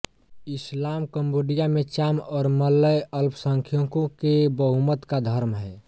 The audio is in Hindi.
इस्लाम कंबोडिया में चाम और मलय अल्पसंख्यकों के बहुमत का धर्म है